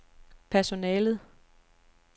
personalet